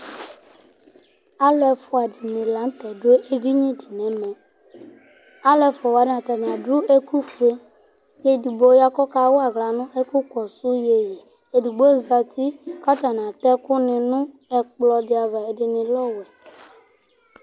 Alʋ ɛfʋa dìní la ntɛ dʋ ɛdiní di nʋ ɛmɛ Alu ɛfʋa wani atani adu ɛku fʋe kʋ ɛdigbo ya kʋ ɔka wa aɣla nʋ ɛku kɔsu iyeyi Ɛdigbo zɛti kʋ atani atɛ ɛku ni nʋ ɛkplɔ di ava Ɛdiní lɛ ɔwɛ